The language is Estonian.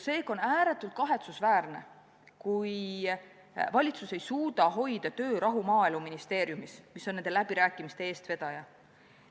Seega on ääretult kahetsusväärne, kui valitsus ei suuda hoida töörahu Maaeluministeeriumis, mis on nende läbirääkimiste eestvedaja.